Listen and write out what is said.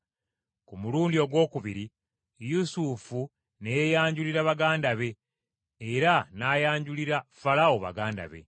Ku mulundi ogwokubiri Yusufu ne yeeyanjulira baganda be era n’ayanjulira Falaawo baganda be.